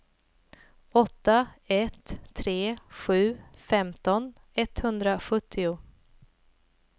åtta ett tre sju femton etthundrasjuttio